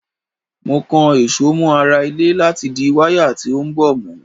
Mo kan èso mọ ara ilé láti di wáyà tí ó ń bọ̀ mú.